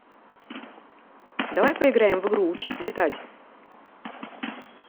давай поиграем в игру учись летать